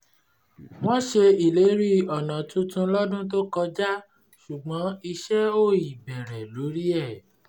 wọ́n ṣe ìlérí ọ̀nà tuntun lọ́dún tó kọjá ṣùgbọ́n iṣẹ́ ò ì bẹ̀rẹ̀ lórí ẹ̀